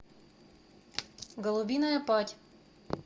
голубиная падь